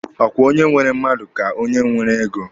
Ọ kwa onye nwere mmadụ ka onye nwere ego?